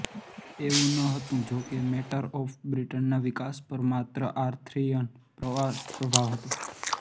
એવું ન હતું જો કે મેટર ઓફ બ્રિટન ના વિકાસ પર માત્ર આર્થરિયન પ્રભાવ હતો